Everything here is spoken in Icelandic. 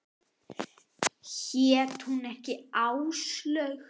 Hét hún ekki Áslaug?